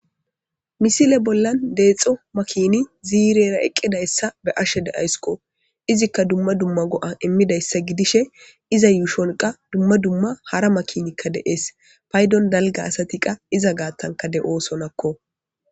misile bollan deexxo makini ziirera eqqidassa be'ashe de7ayskko izikka dumma dumma go7a immidayssa gidishe iza yuushon qa dumma dumma hara makinikka deees paydon dalga asati qa iza gaattanka de7oosonakko